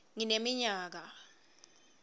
ngineminyaka